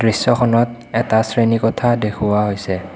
দৃশ্যখনত এটা শ্ৰেণীকোঠা দেখুওৱা হৈছে।